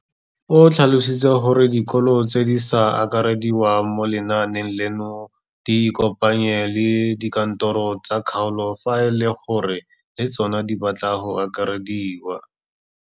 O tlhalositse gore dikolo tse di sa akarediwang mo lenaaneng leno di ikopanye le dikantoro tsa kgaolo fa e le gore le tsona di batla go akarediwa.